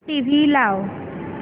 TV लाव